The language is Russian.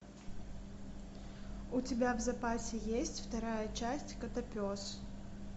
у тебя в запасе есть вторая часть котопес